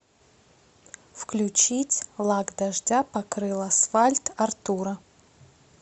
включить лак дождя покрыл асфальт артура